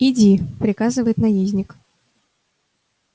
иди приказывает наездник